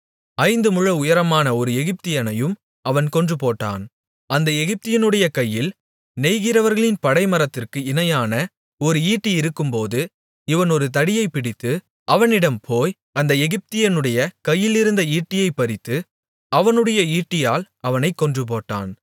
ஐந்து முழ உயரமான ஒரு எகிப்தியனையும் அவன் கொன்றுபோட்டான் அந்த எகிப்தியனுடைய கையில் நெய்கிறவர்களின் படைமரத்திற்கு இணையான ஒரு ஈட்டி இருக்கும்போது இவன் ஒரு தடியைப் பிடித்து அவனிடம் போய் அந்த எகிப்தியனுடைய கையிலிருந்த ஈட்டியைப் பறித்து அவனுடைய ஈட்டியால் அவனைக் கொன்றுபோட்டான்